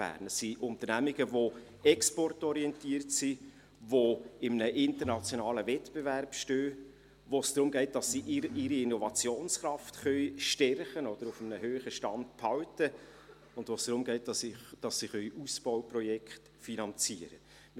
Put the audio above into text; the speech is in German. Das sind Unternehmen, die exportorientiert sind, die in einem internationalen Wettbewerb stehen, bei denen es darum geht, dass sie ihre Innovationskraft stärken oder auf einem hohen Stand behalten können, und bei denen es darum geht, dass sie Ausbauprojekte finanzieren können.